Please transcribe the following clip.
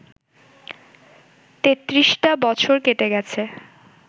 তেত্রিশটা বছর কেটে গেছে